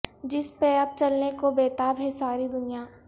جس پہ اب چلنے کو بیتاب ہے ساری دنیا